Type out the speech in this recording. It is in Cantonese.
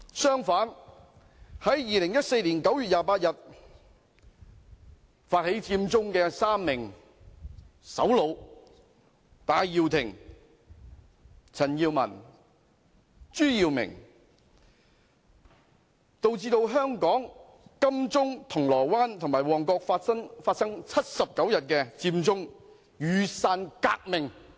相反，在2014年9月28日發起佔中的3名首腦戴耀廷、陳健民及朱耀明導致香港金鐘、銅鑼灣和旺角發生79日的佔中雨傘革命。